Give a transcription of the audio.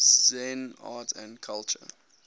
zen art and culture